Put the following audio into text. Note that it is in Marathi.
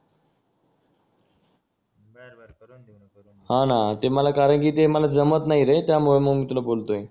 हा ना ते मला कारण कि ते मला जमत नाय रे त्यामुळे मग मी तुला बोलतंय